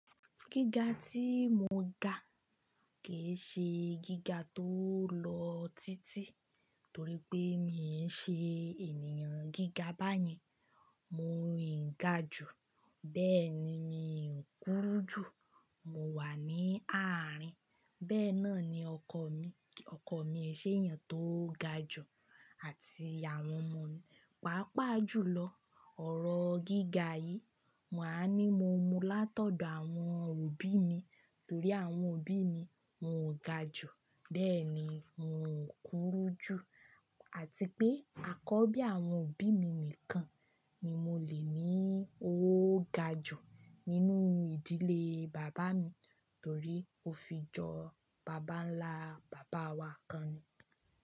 Gíga tí mò ń ga kì í ṣe gíga tó lọ títí torí pé mi ń ṣe ènìyàn gíga báyẹn. Mò ń ga jù, bẹ́ẹ̀ ni mi ò kúru jù. Mo wà ní àárín. Bẹ́ẹ̀ náà ni ọkọ mi, ọkọ mi ẹṣẹ ènìyàn tó ga jù àti àwọn ọmọ mi. Pàápàá jùlọ ọ̀rọ̀ gíga yìí, màá ní mo mú látọ̀dọ̀ àwọn òbí mi torí àwọn òbí mi wón ga jù, bẹ́ẹ̀ ni wòn kúru jù àti pé àkọ́bí àwọn òbí mi nìkan ni mo lè ní oo ga jù nínú ìdílé bàbá mi torí ó fi jọ bàbá ńlá bàbá wa kan ni.